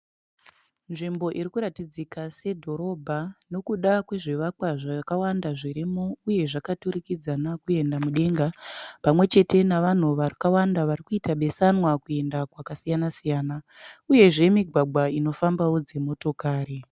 Nzvimbo irikuratidzika sedhorobha nokuda kwezvivakwa zvakawanda zvirimo uye zvakaturikudzana kuenda mudenga. Pamwechete nevanhu vakawanda varikuita besanwa kuenda kwakasiyana-siyana. Uyezve migwagwa inofambawo dzimotokari.